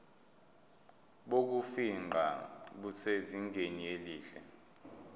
bokufingqa busezingeni elihle